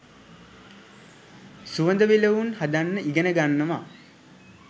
සුවඳ විලවුන් හදන්න ඉගෙන ගන්නවා